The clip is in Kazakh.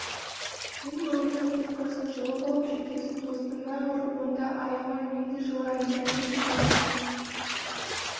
сен бауыржан кепкасын жұлып алып шекесін тосты мә ұр онда аяма мен де жылайын дайын шекені